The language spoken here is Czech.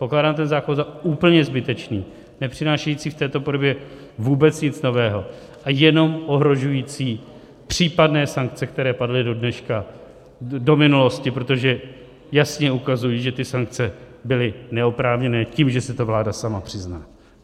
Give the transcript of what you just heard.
Pokládám ten zákon za úplně zbytečný, nepřinášející v této podobě vůbec nic nového a jenom ohrožující případné sankce, které padly do dneška, do minulosti, protože jasně ukazují, že ty sankce byly neoprávněné tím, že si to vláda sama přizná.